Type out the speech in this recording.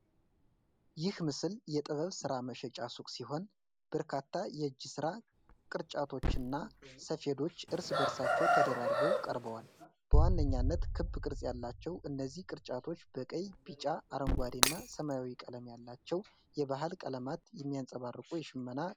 ይህ ምስል የጥበብ ሥራ መሸጫ ሱቅ ሲሆን፣ በርካታ የእጅ ሥራ ቅርጫቶች እና ሰፌዶች እርስ በእርሳቸው ተደራርበው ቀርበዋል። በዋነኛነት ክብ ቅርጽ ያላቸው እነዚህ ቅርጫቶች በቀይ፣ ቢጫ፣ አረንጓዴ እና ሰማያዊ ቀለም ያላቸውን የባህል ቀለማት የሚያንጸባርቁ የሽመና ንድፎችን ይዘዋል።